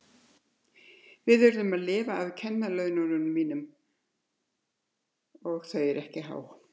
Við urðum þá að lifa af kennaralaununum mínum og þau eru ekki há.